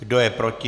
Kdo je proti?